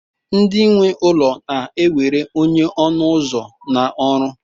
ndị nwe ụlọ na-ewere onye ọnụ ụzọ na ọrụ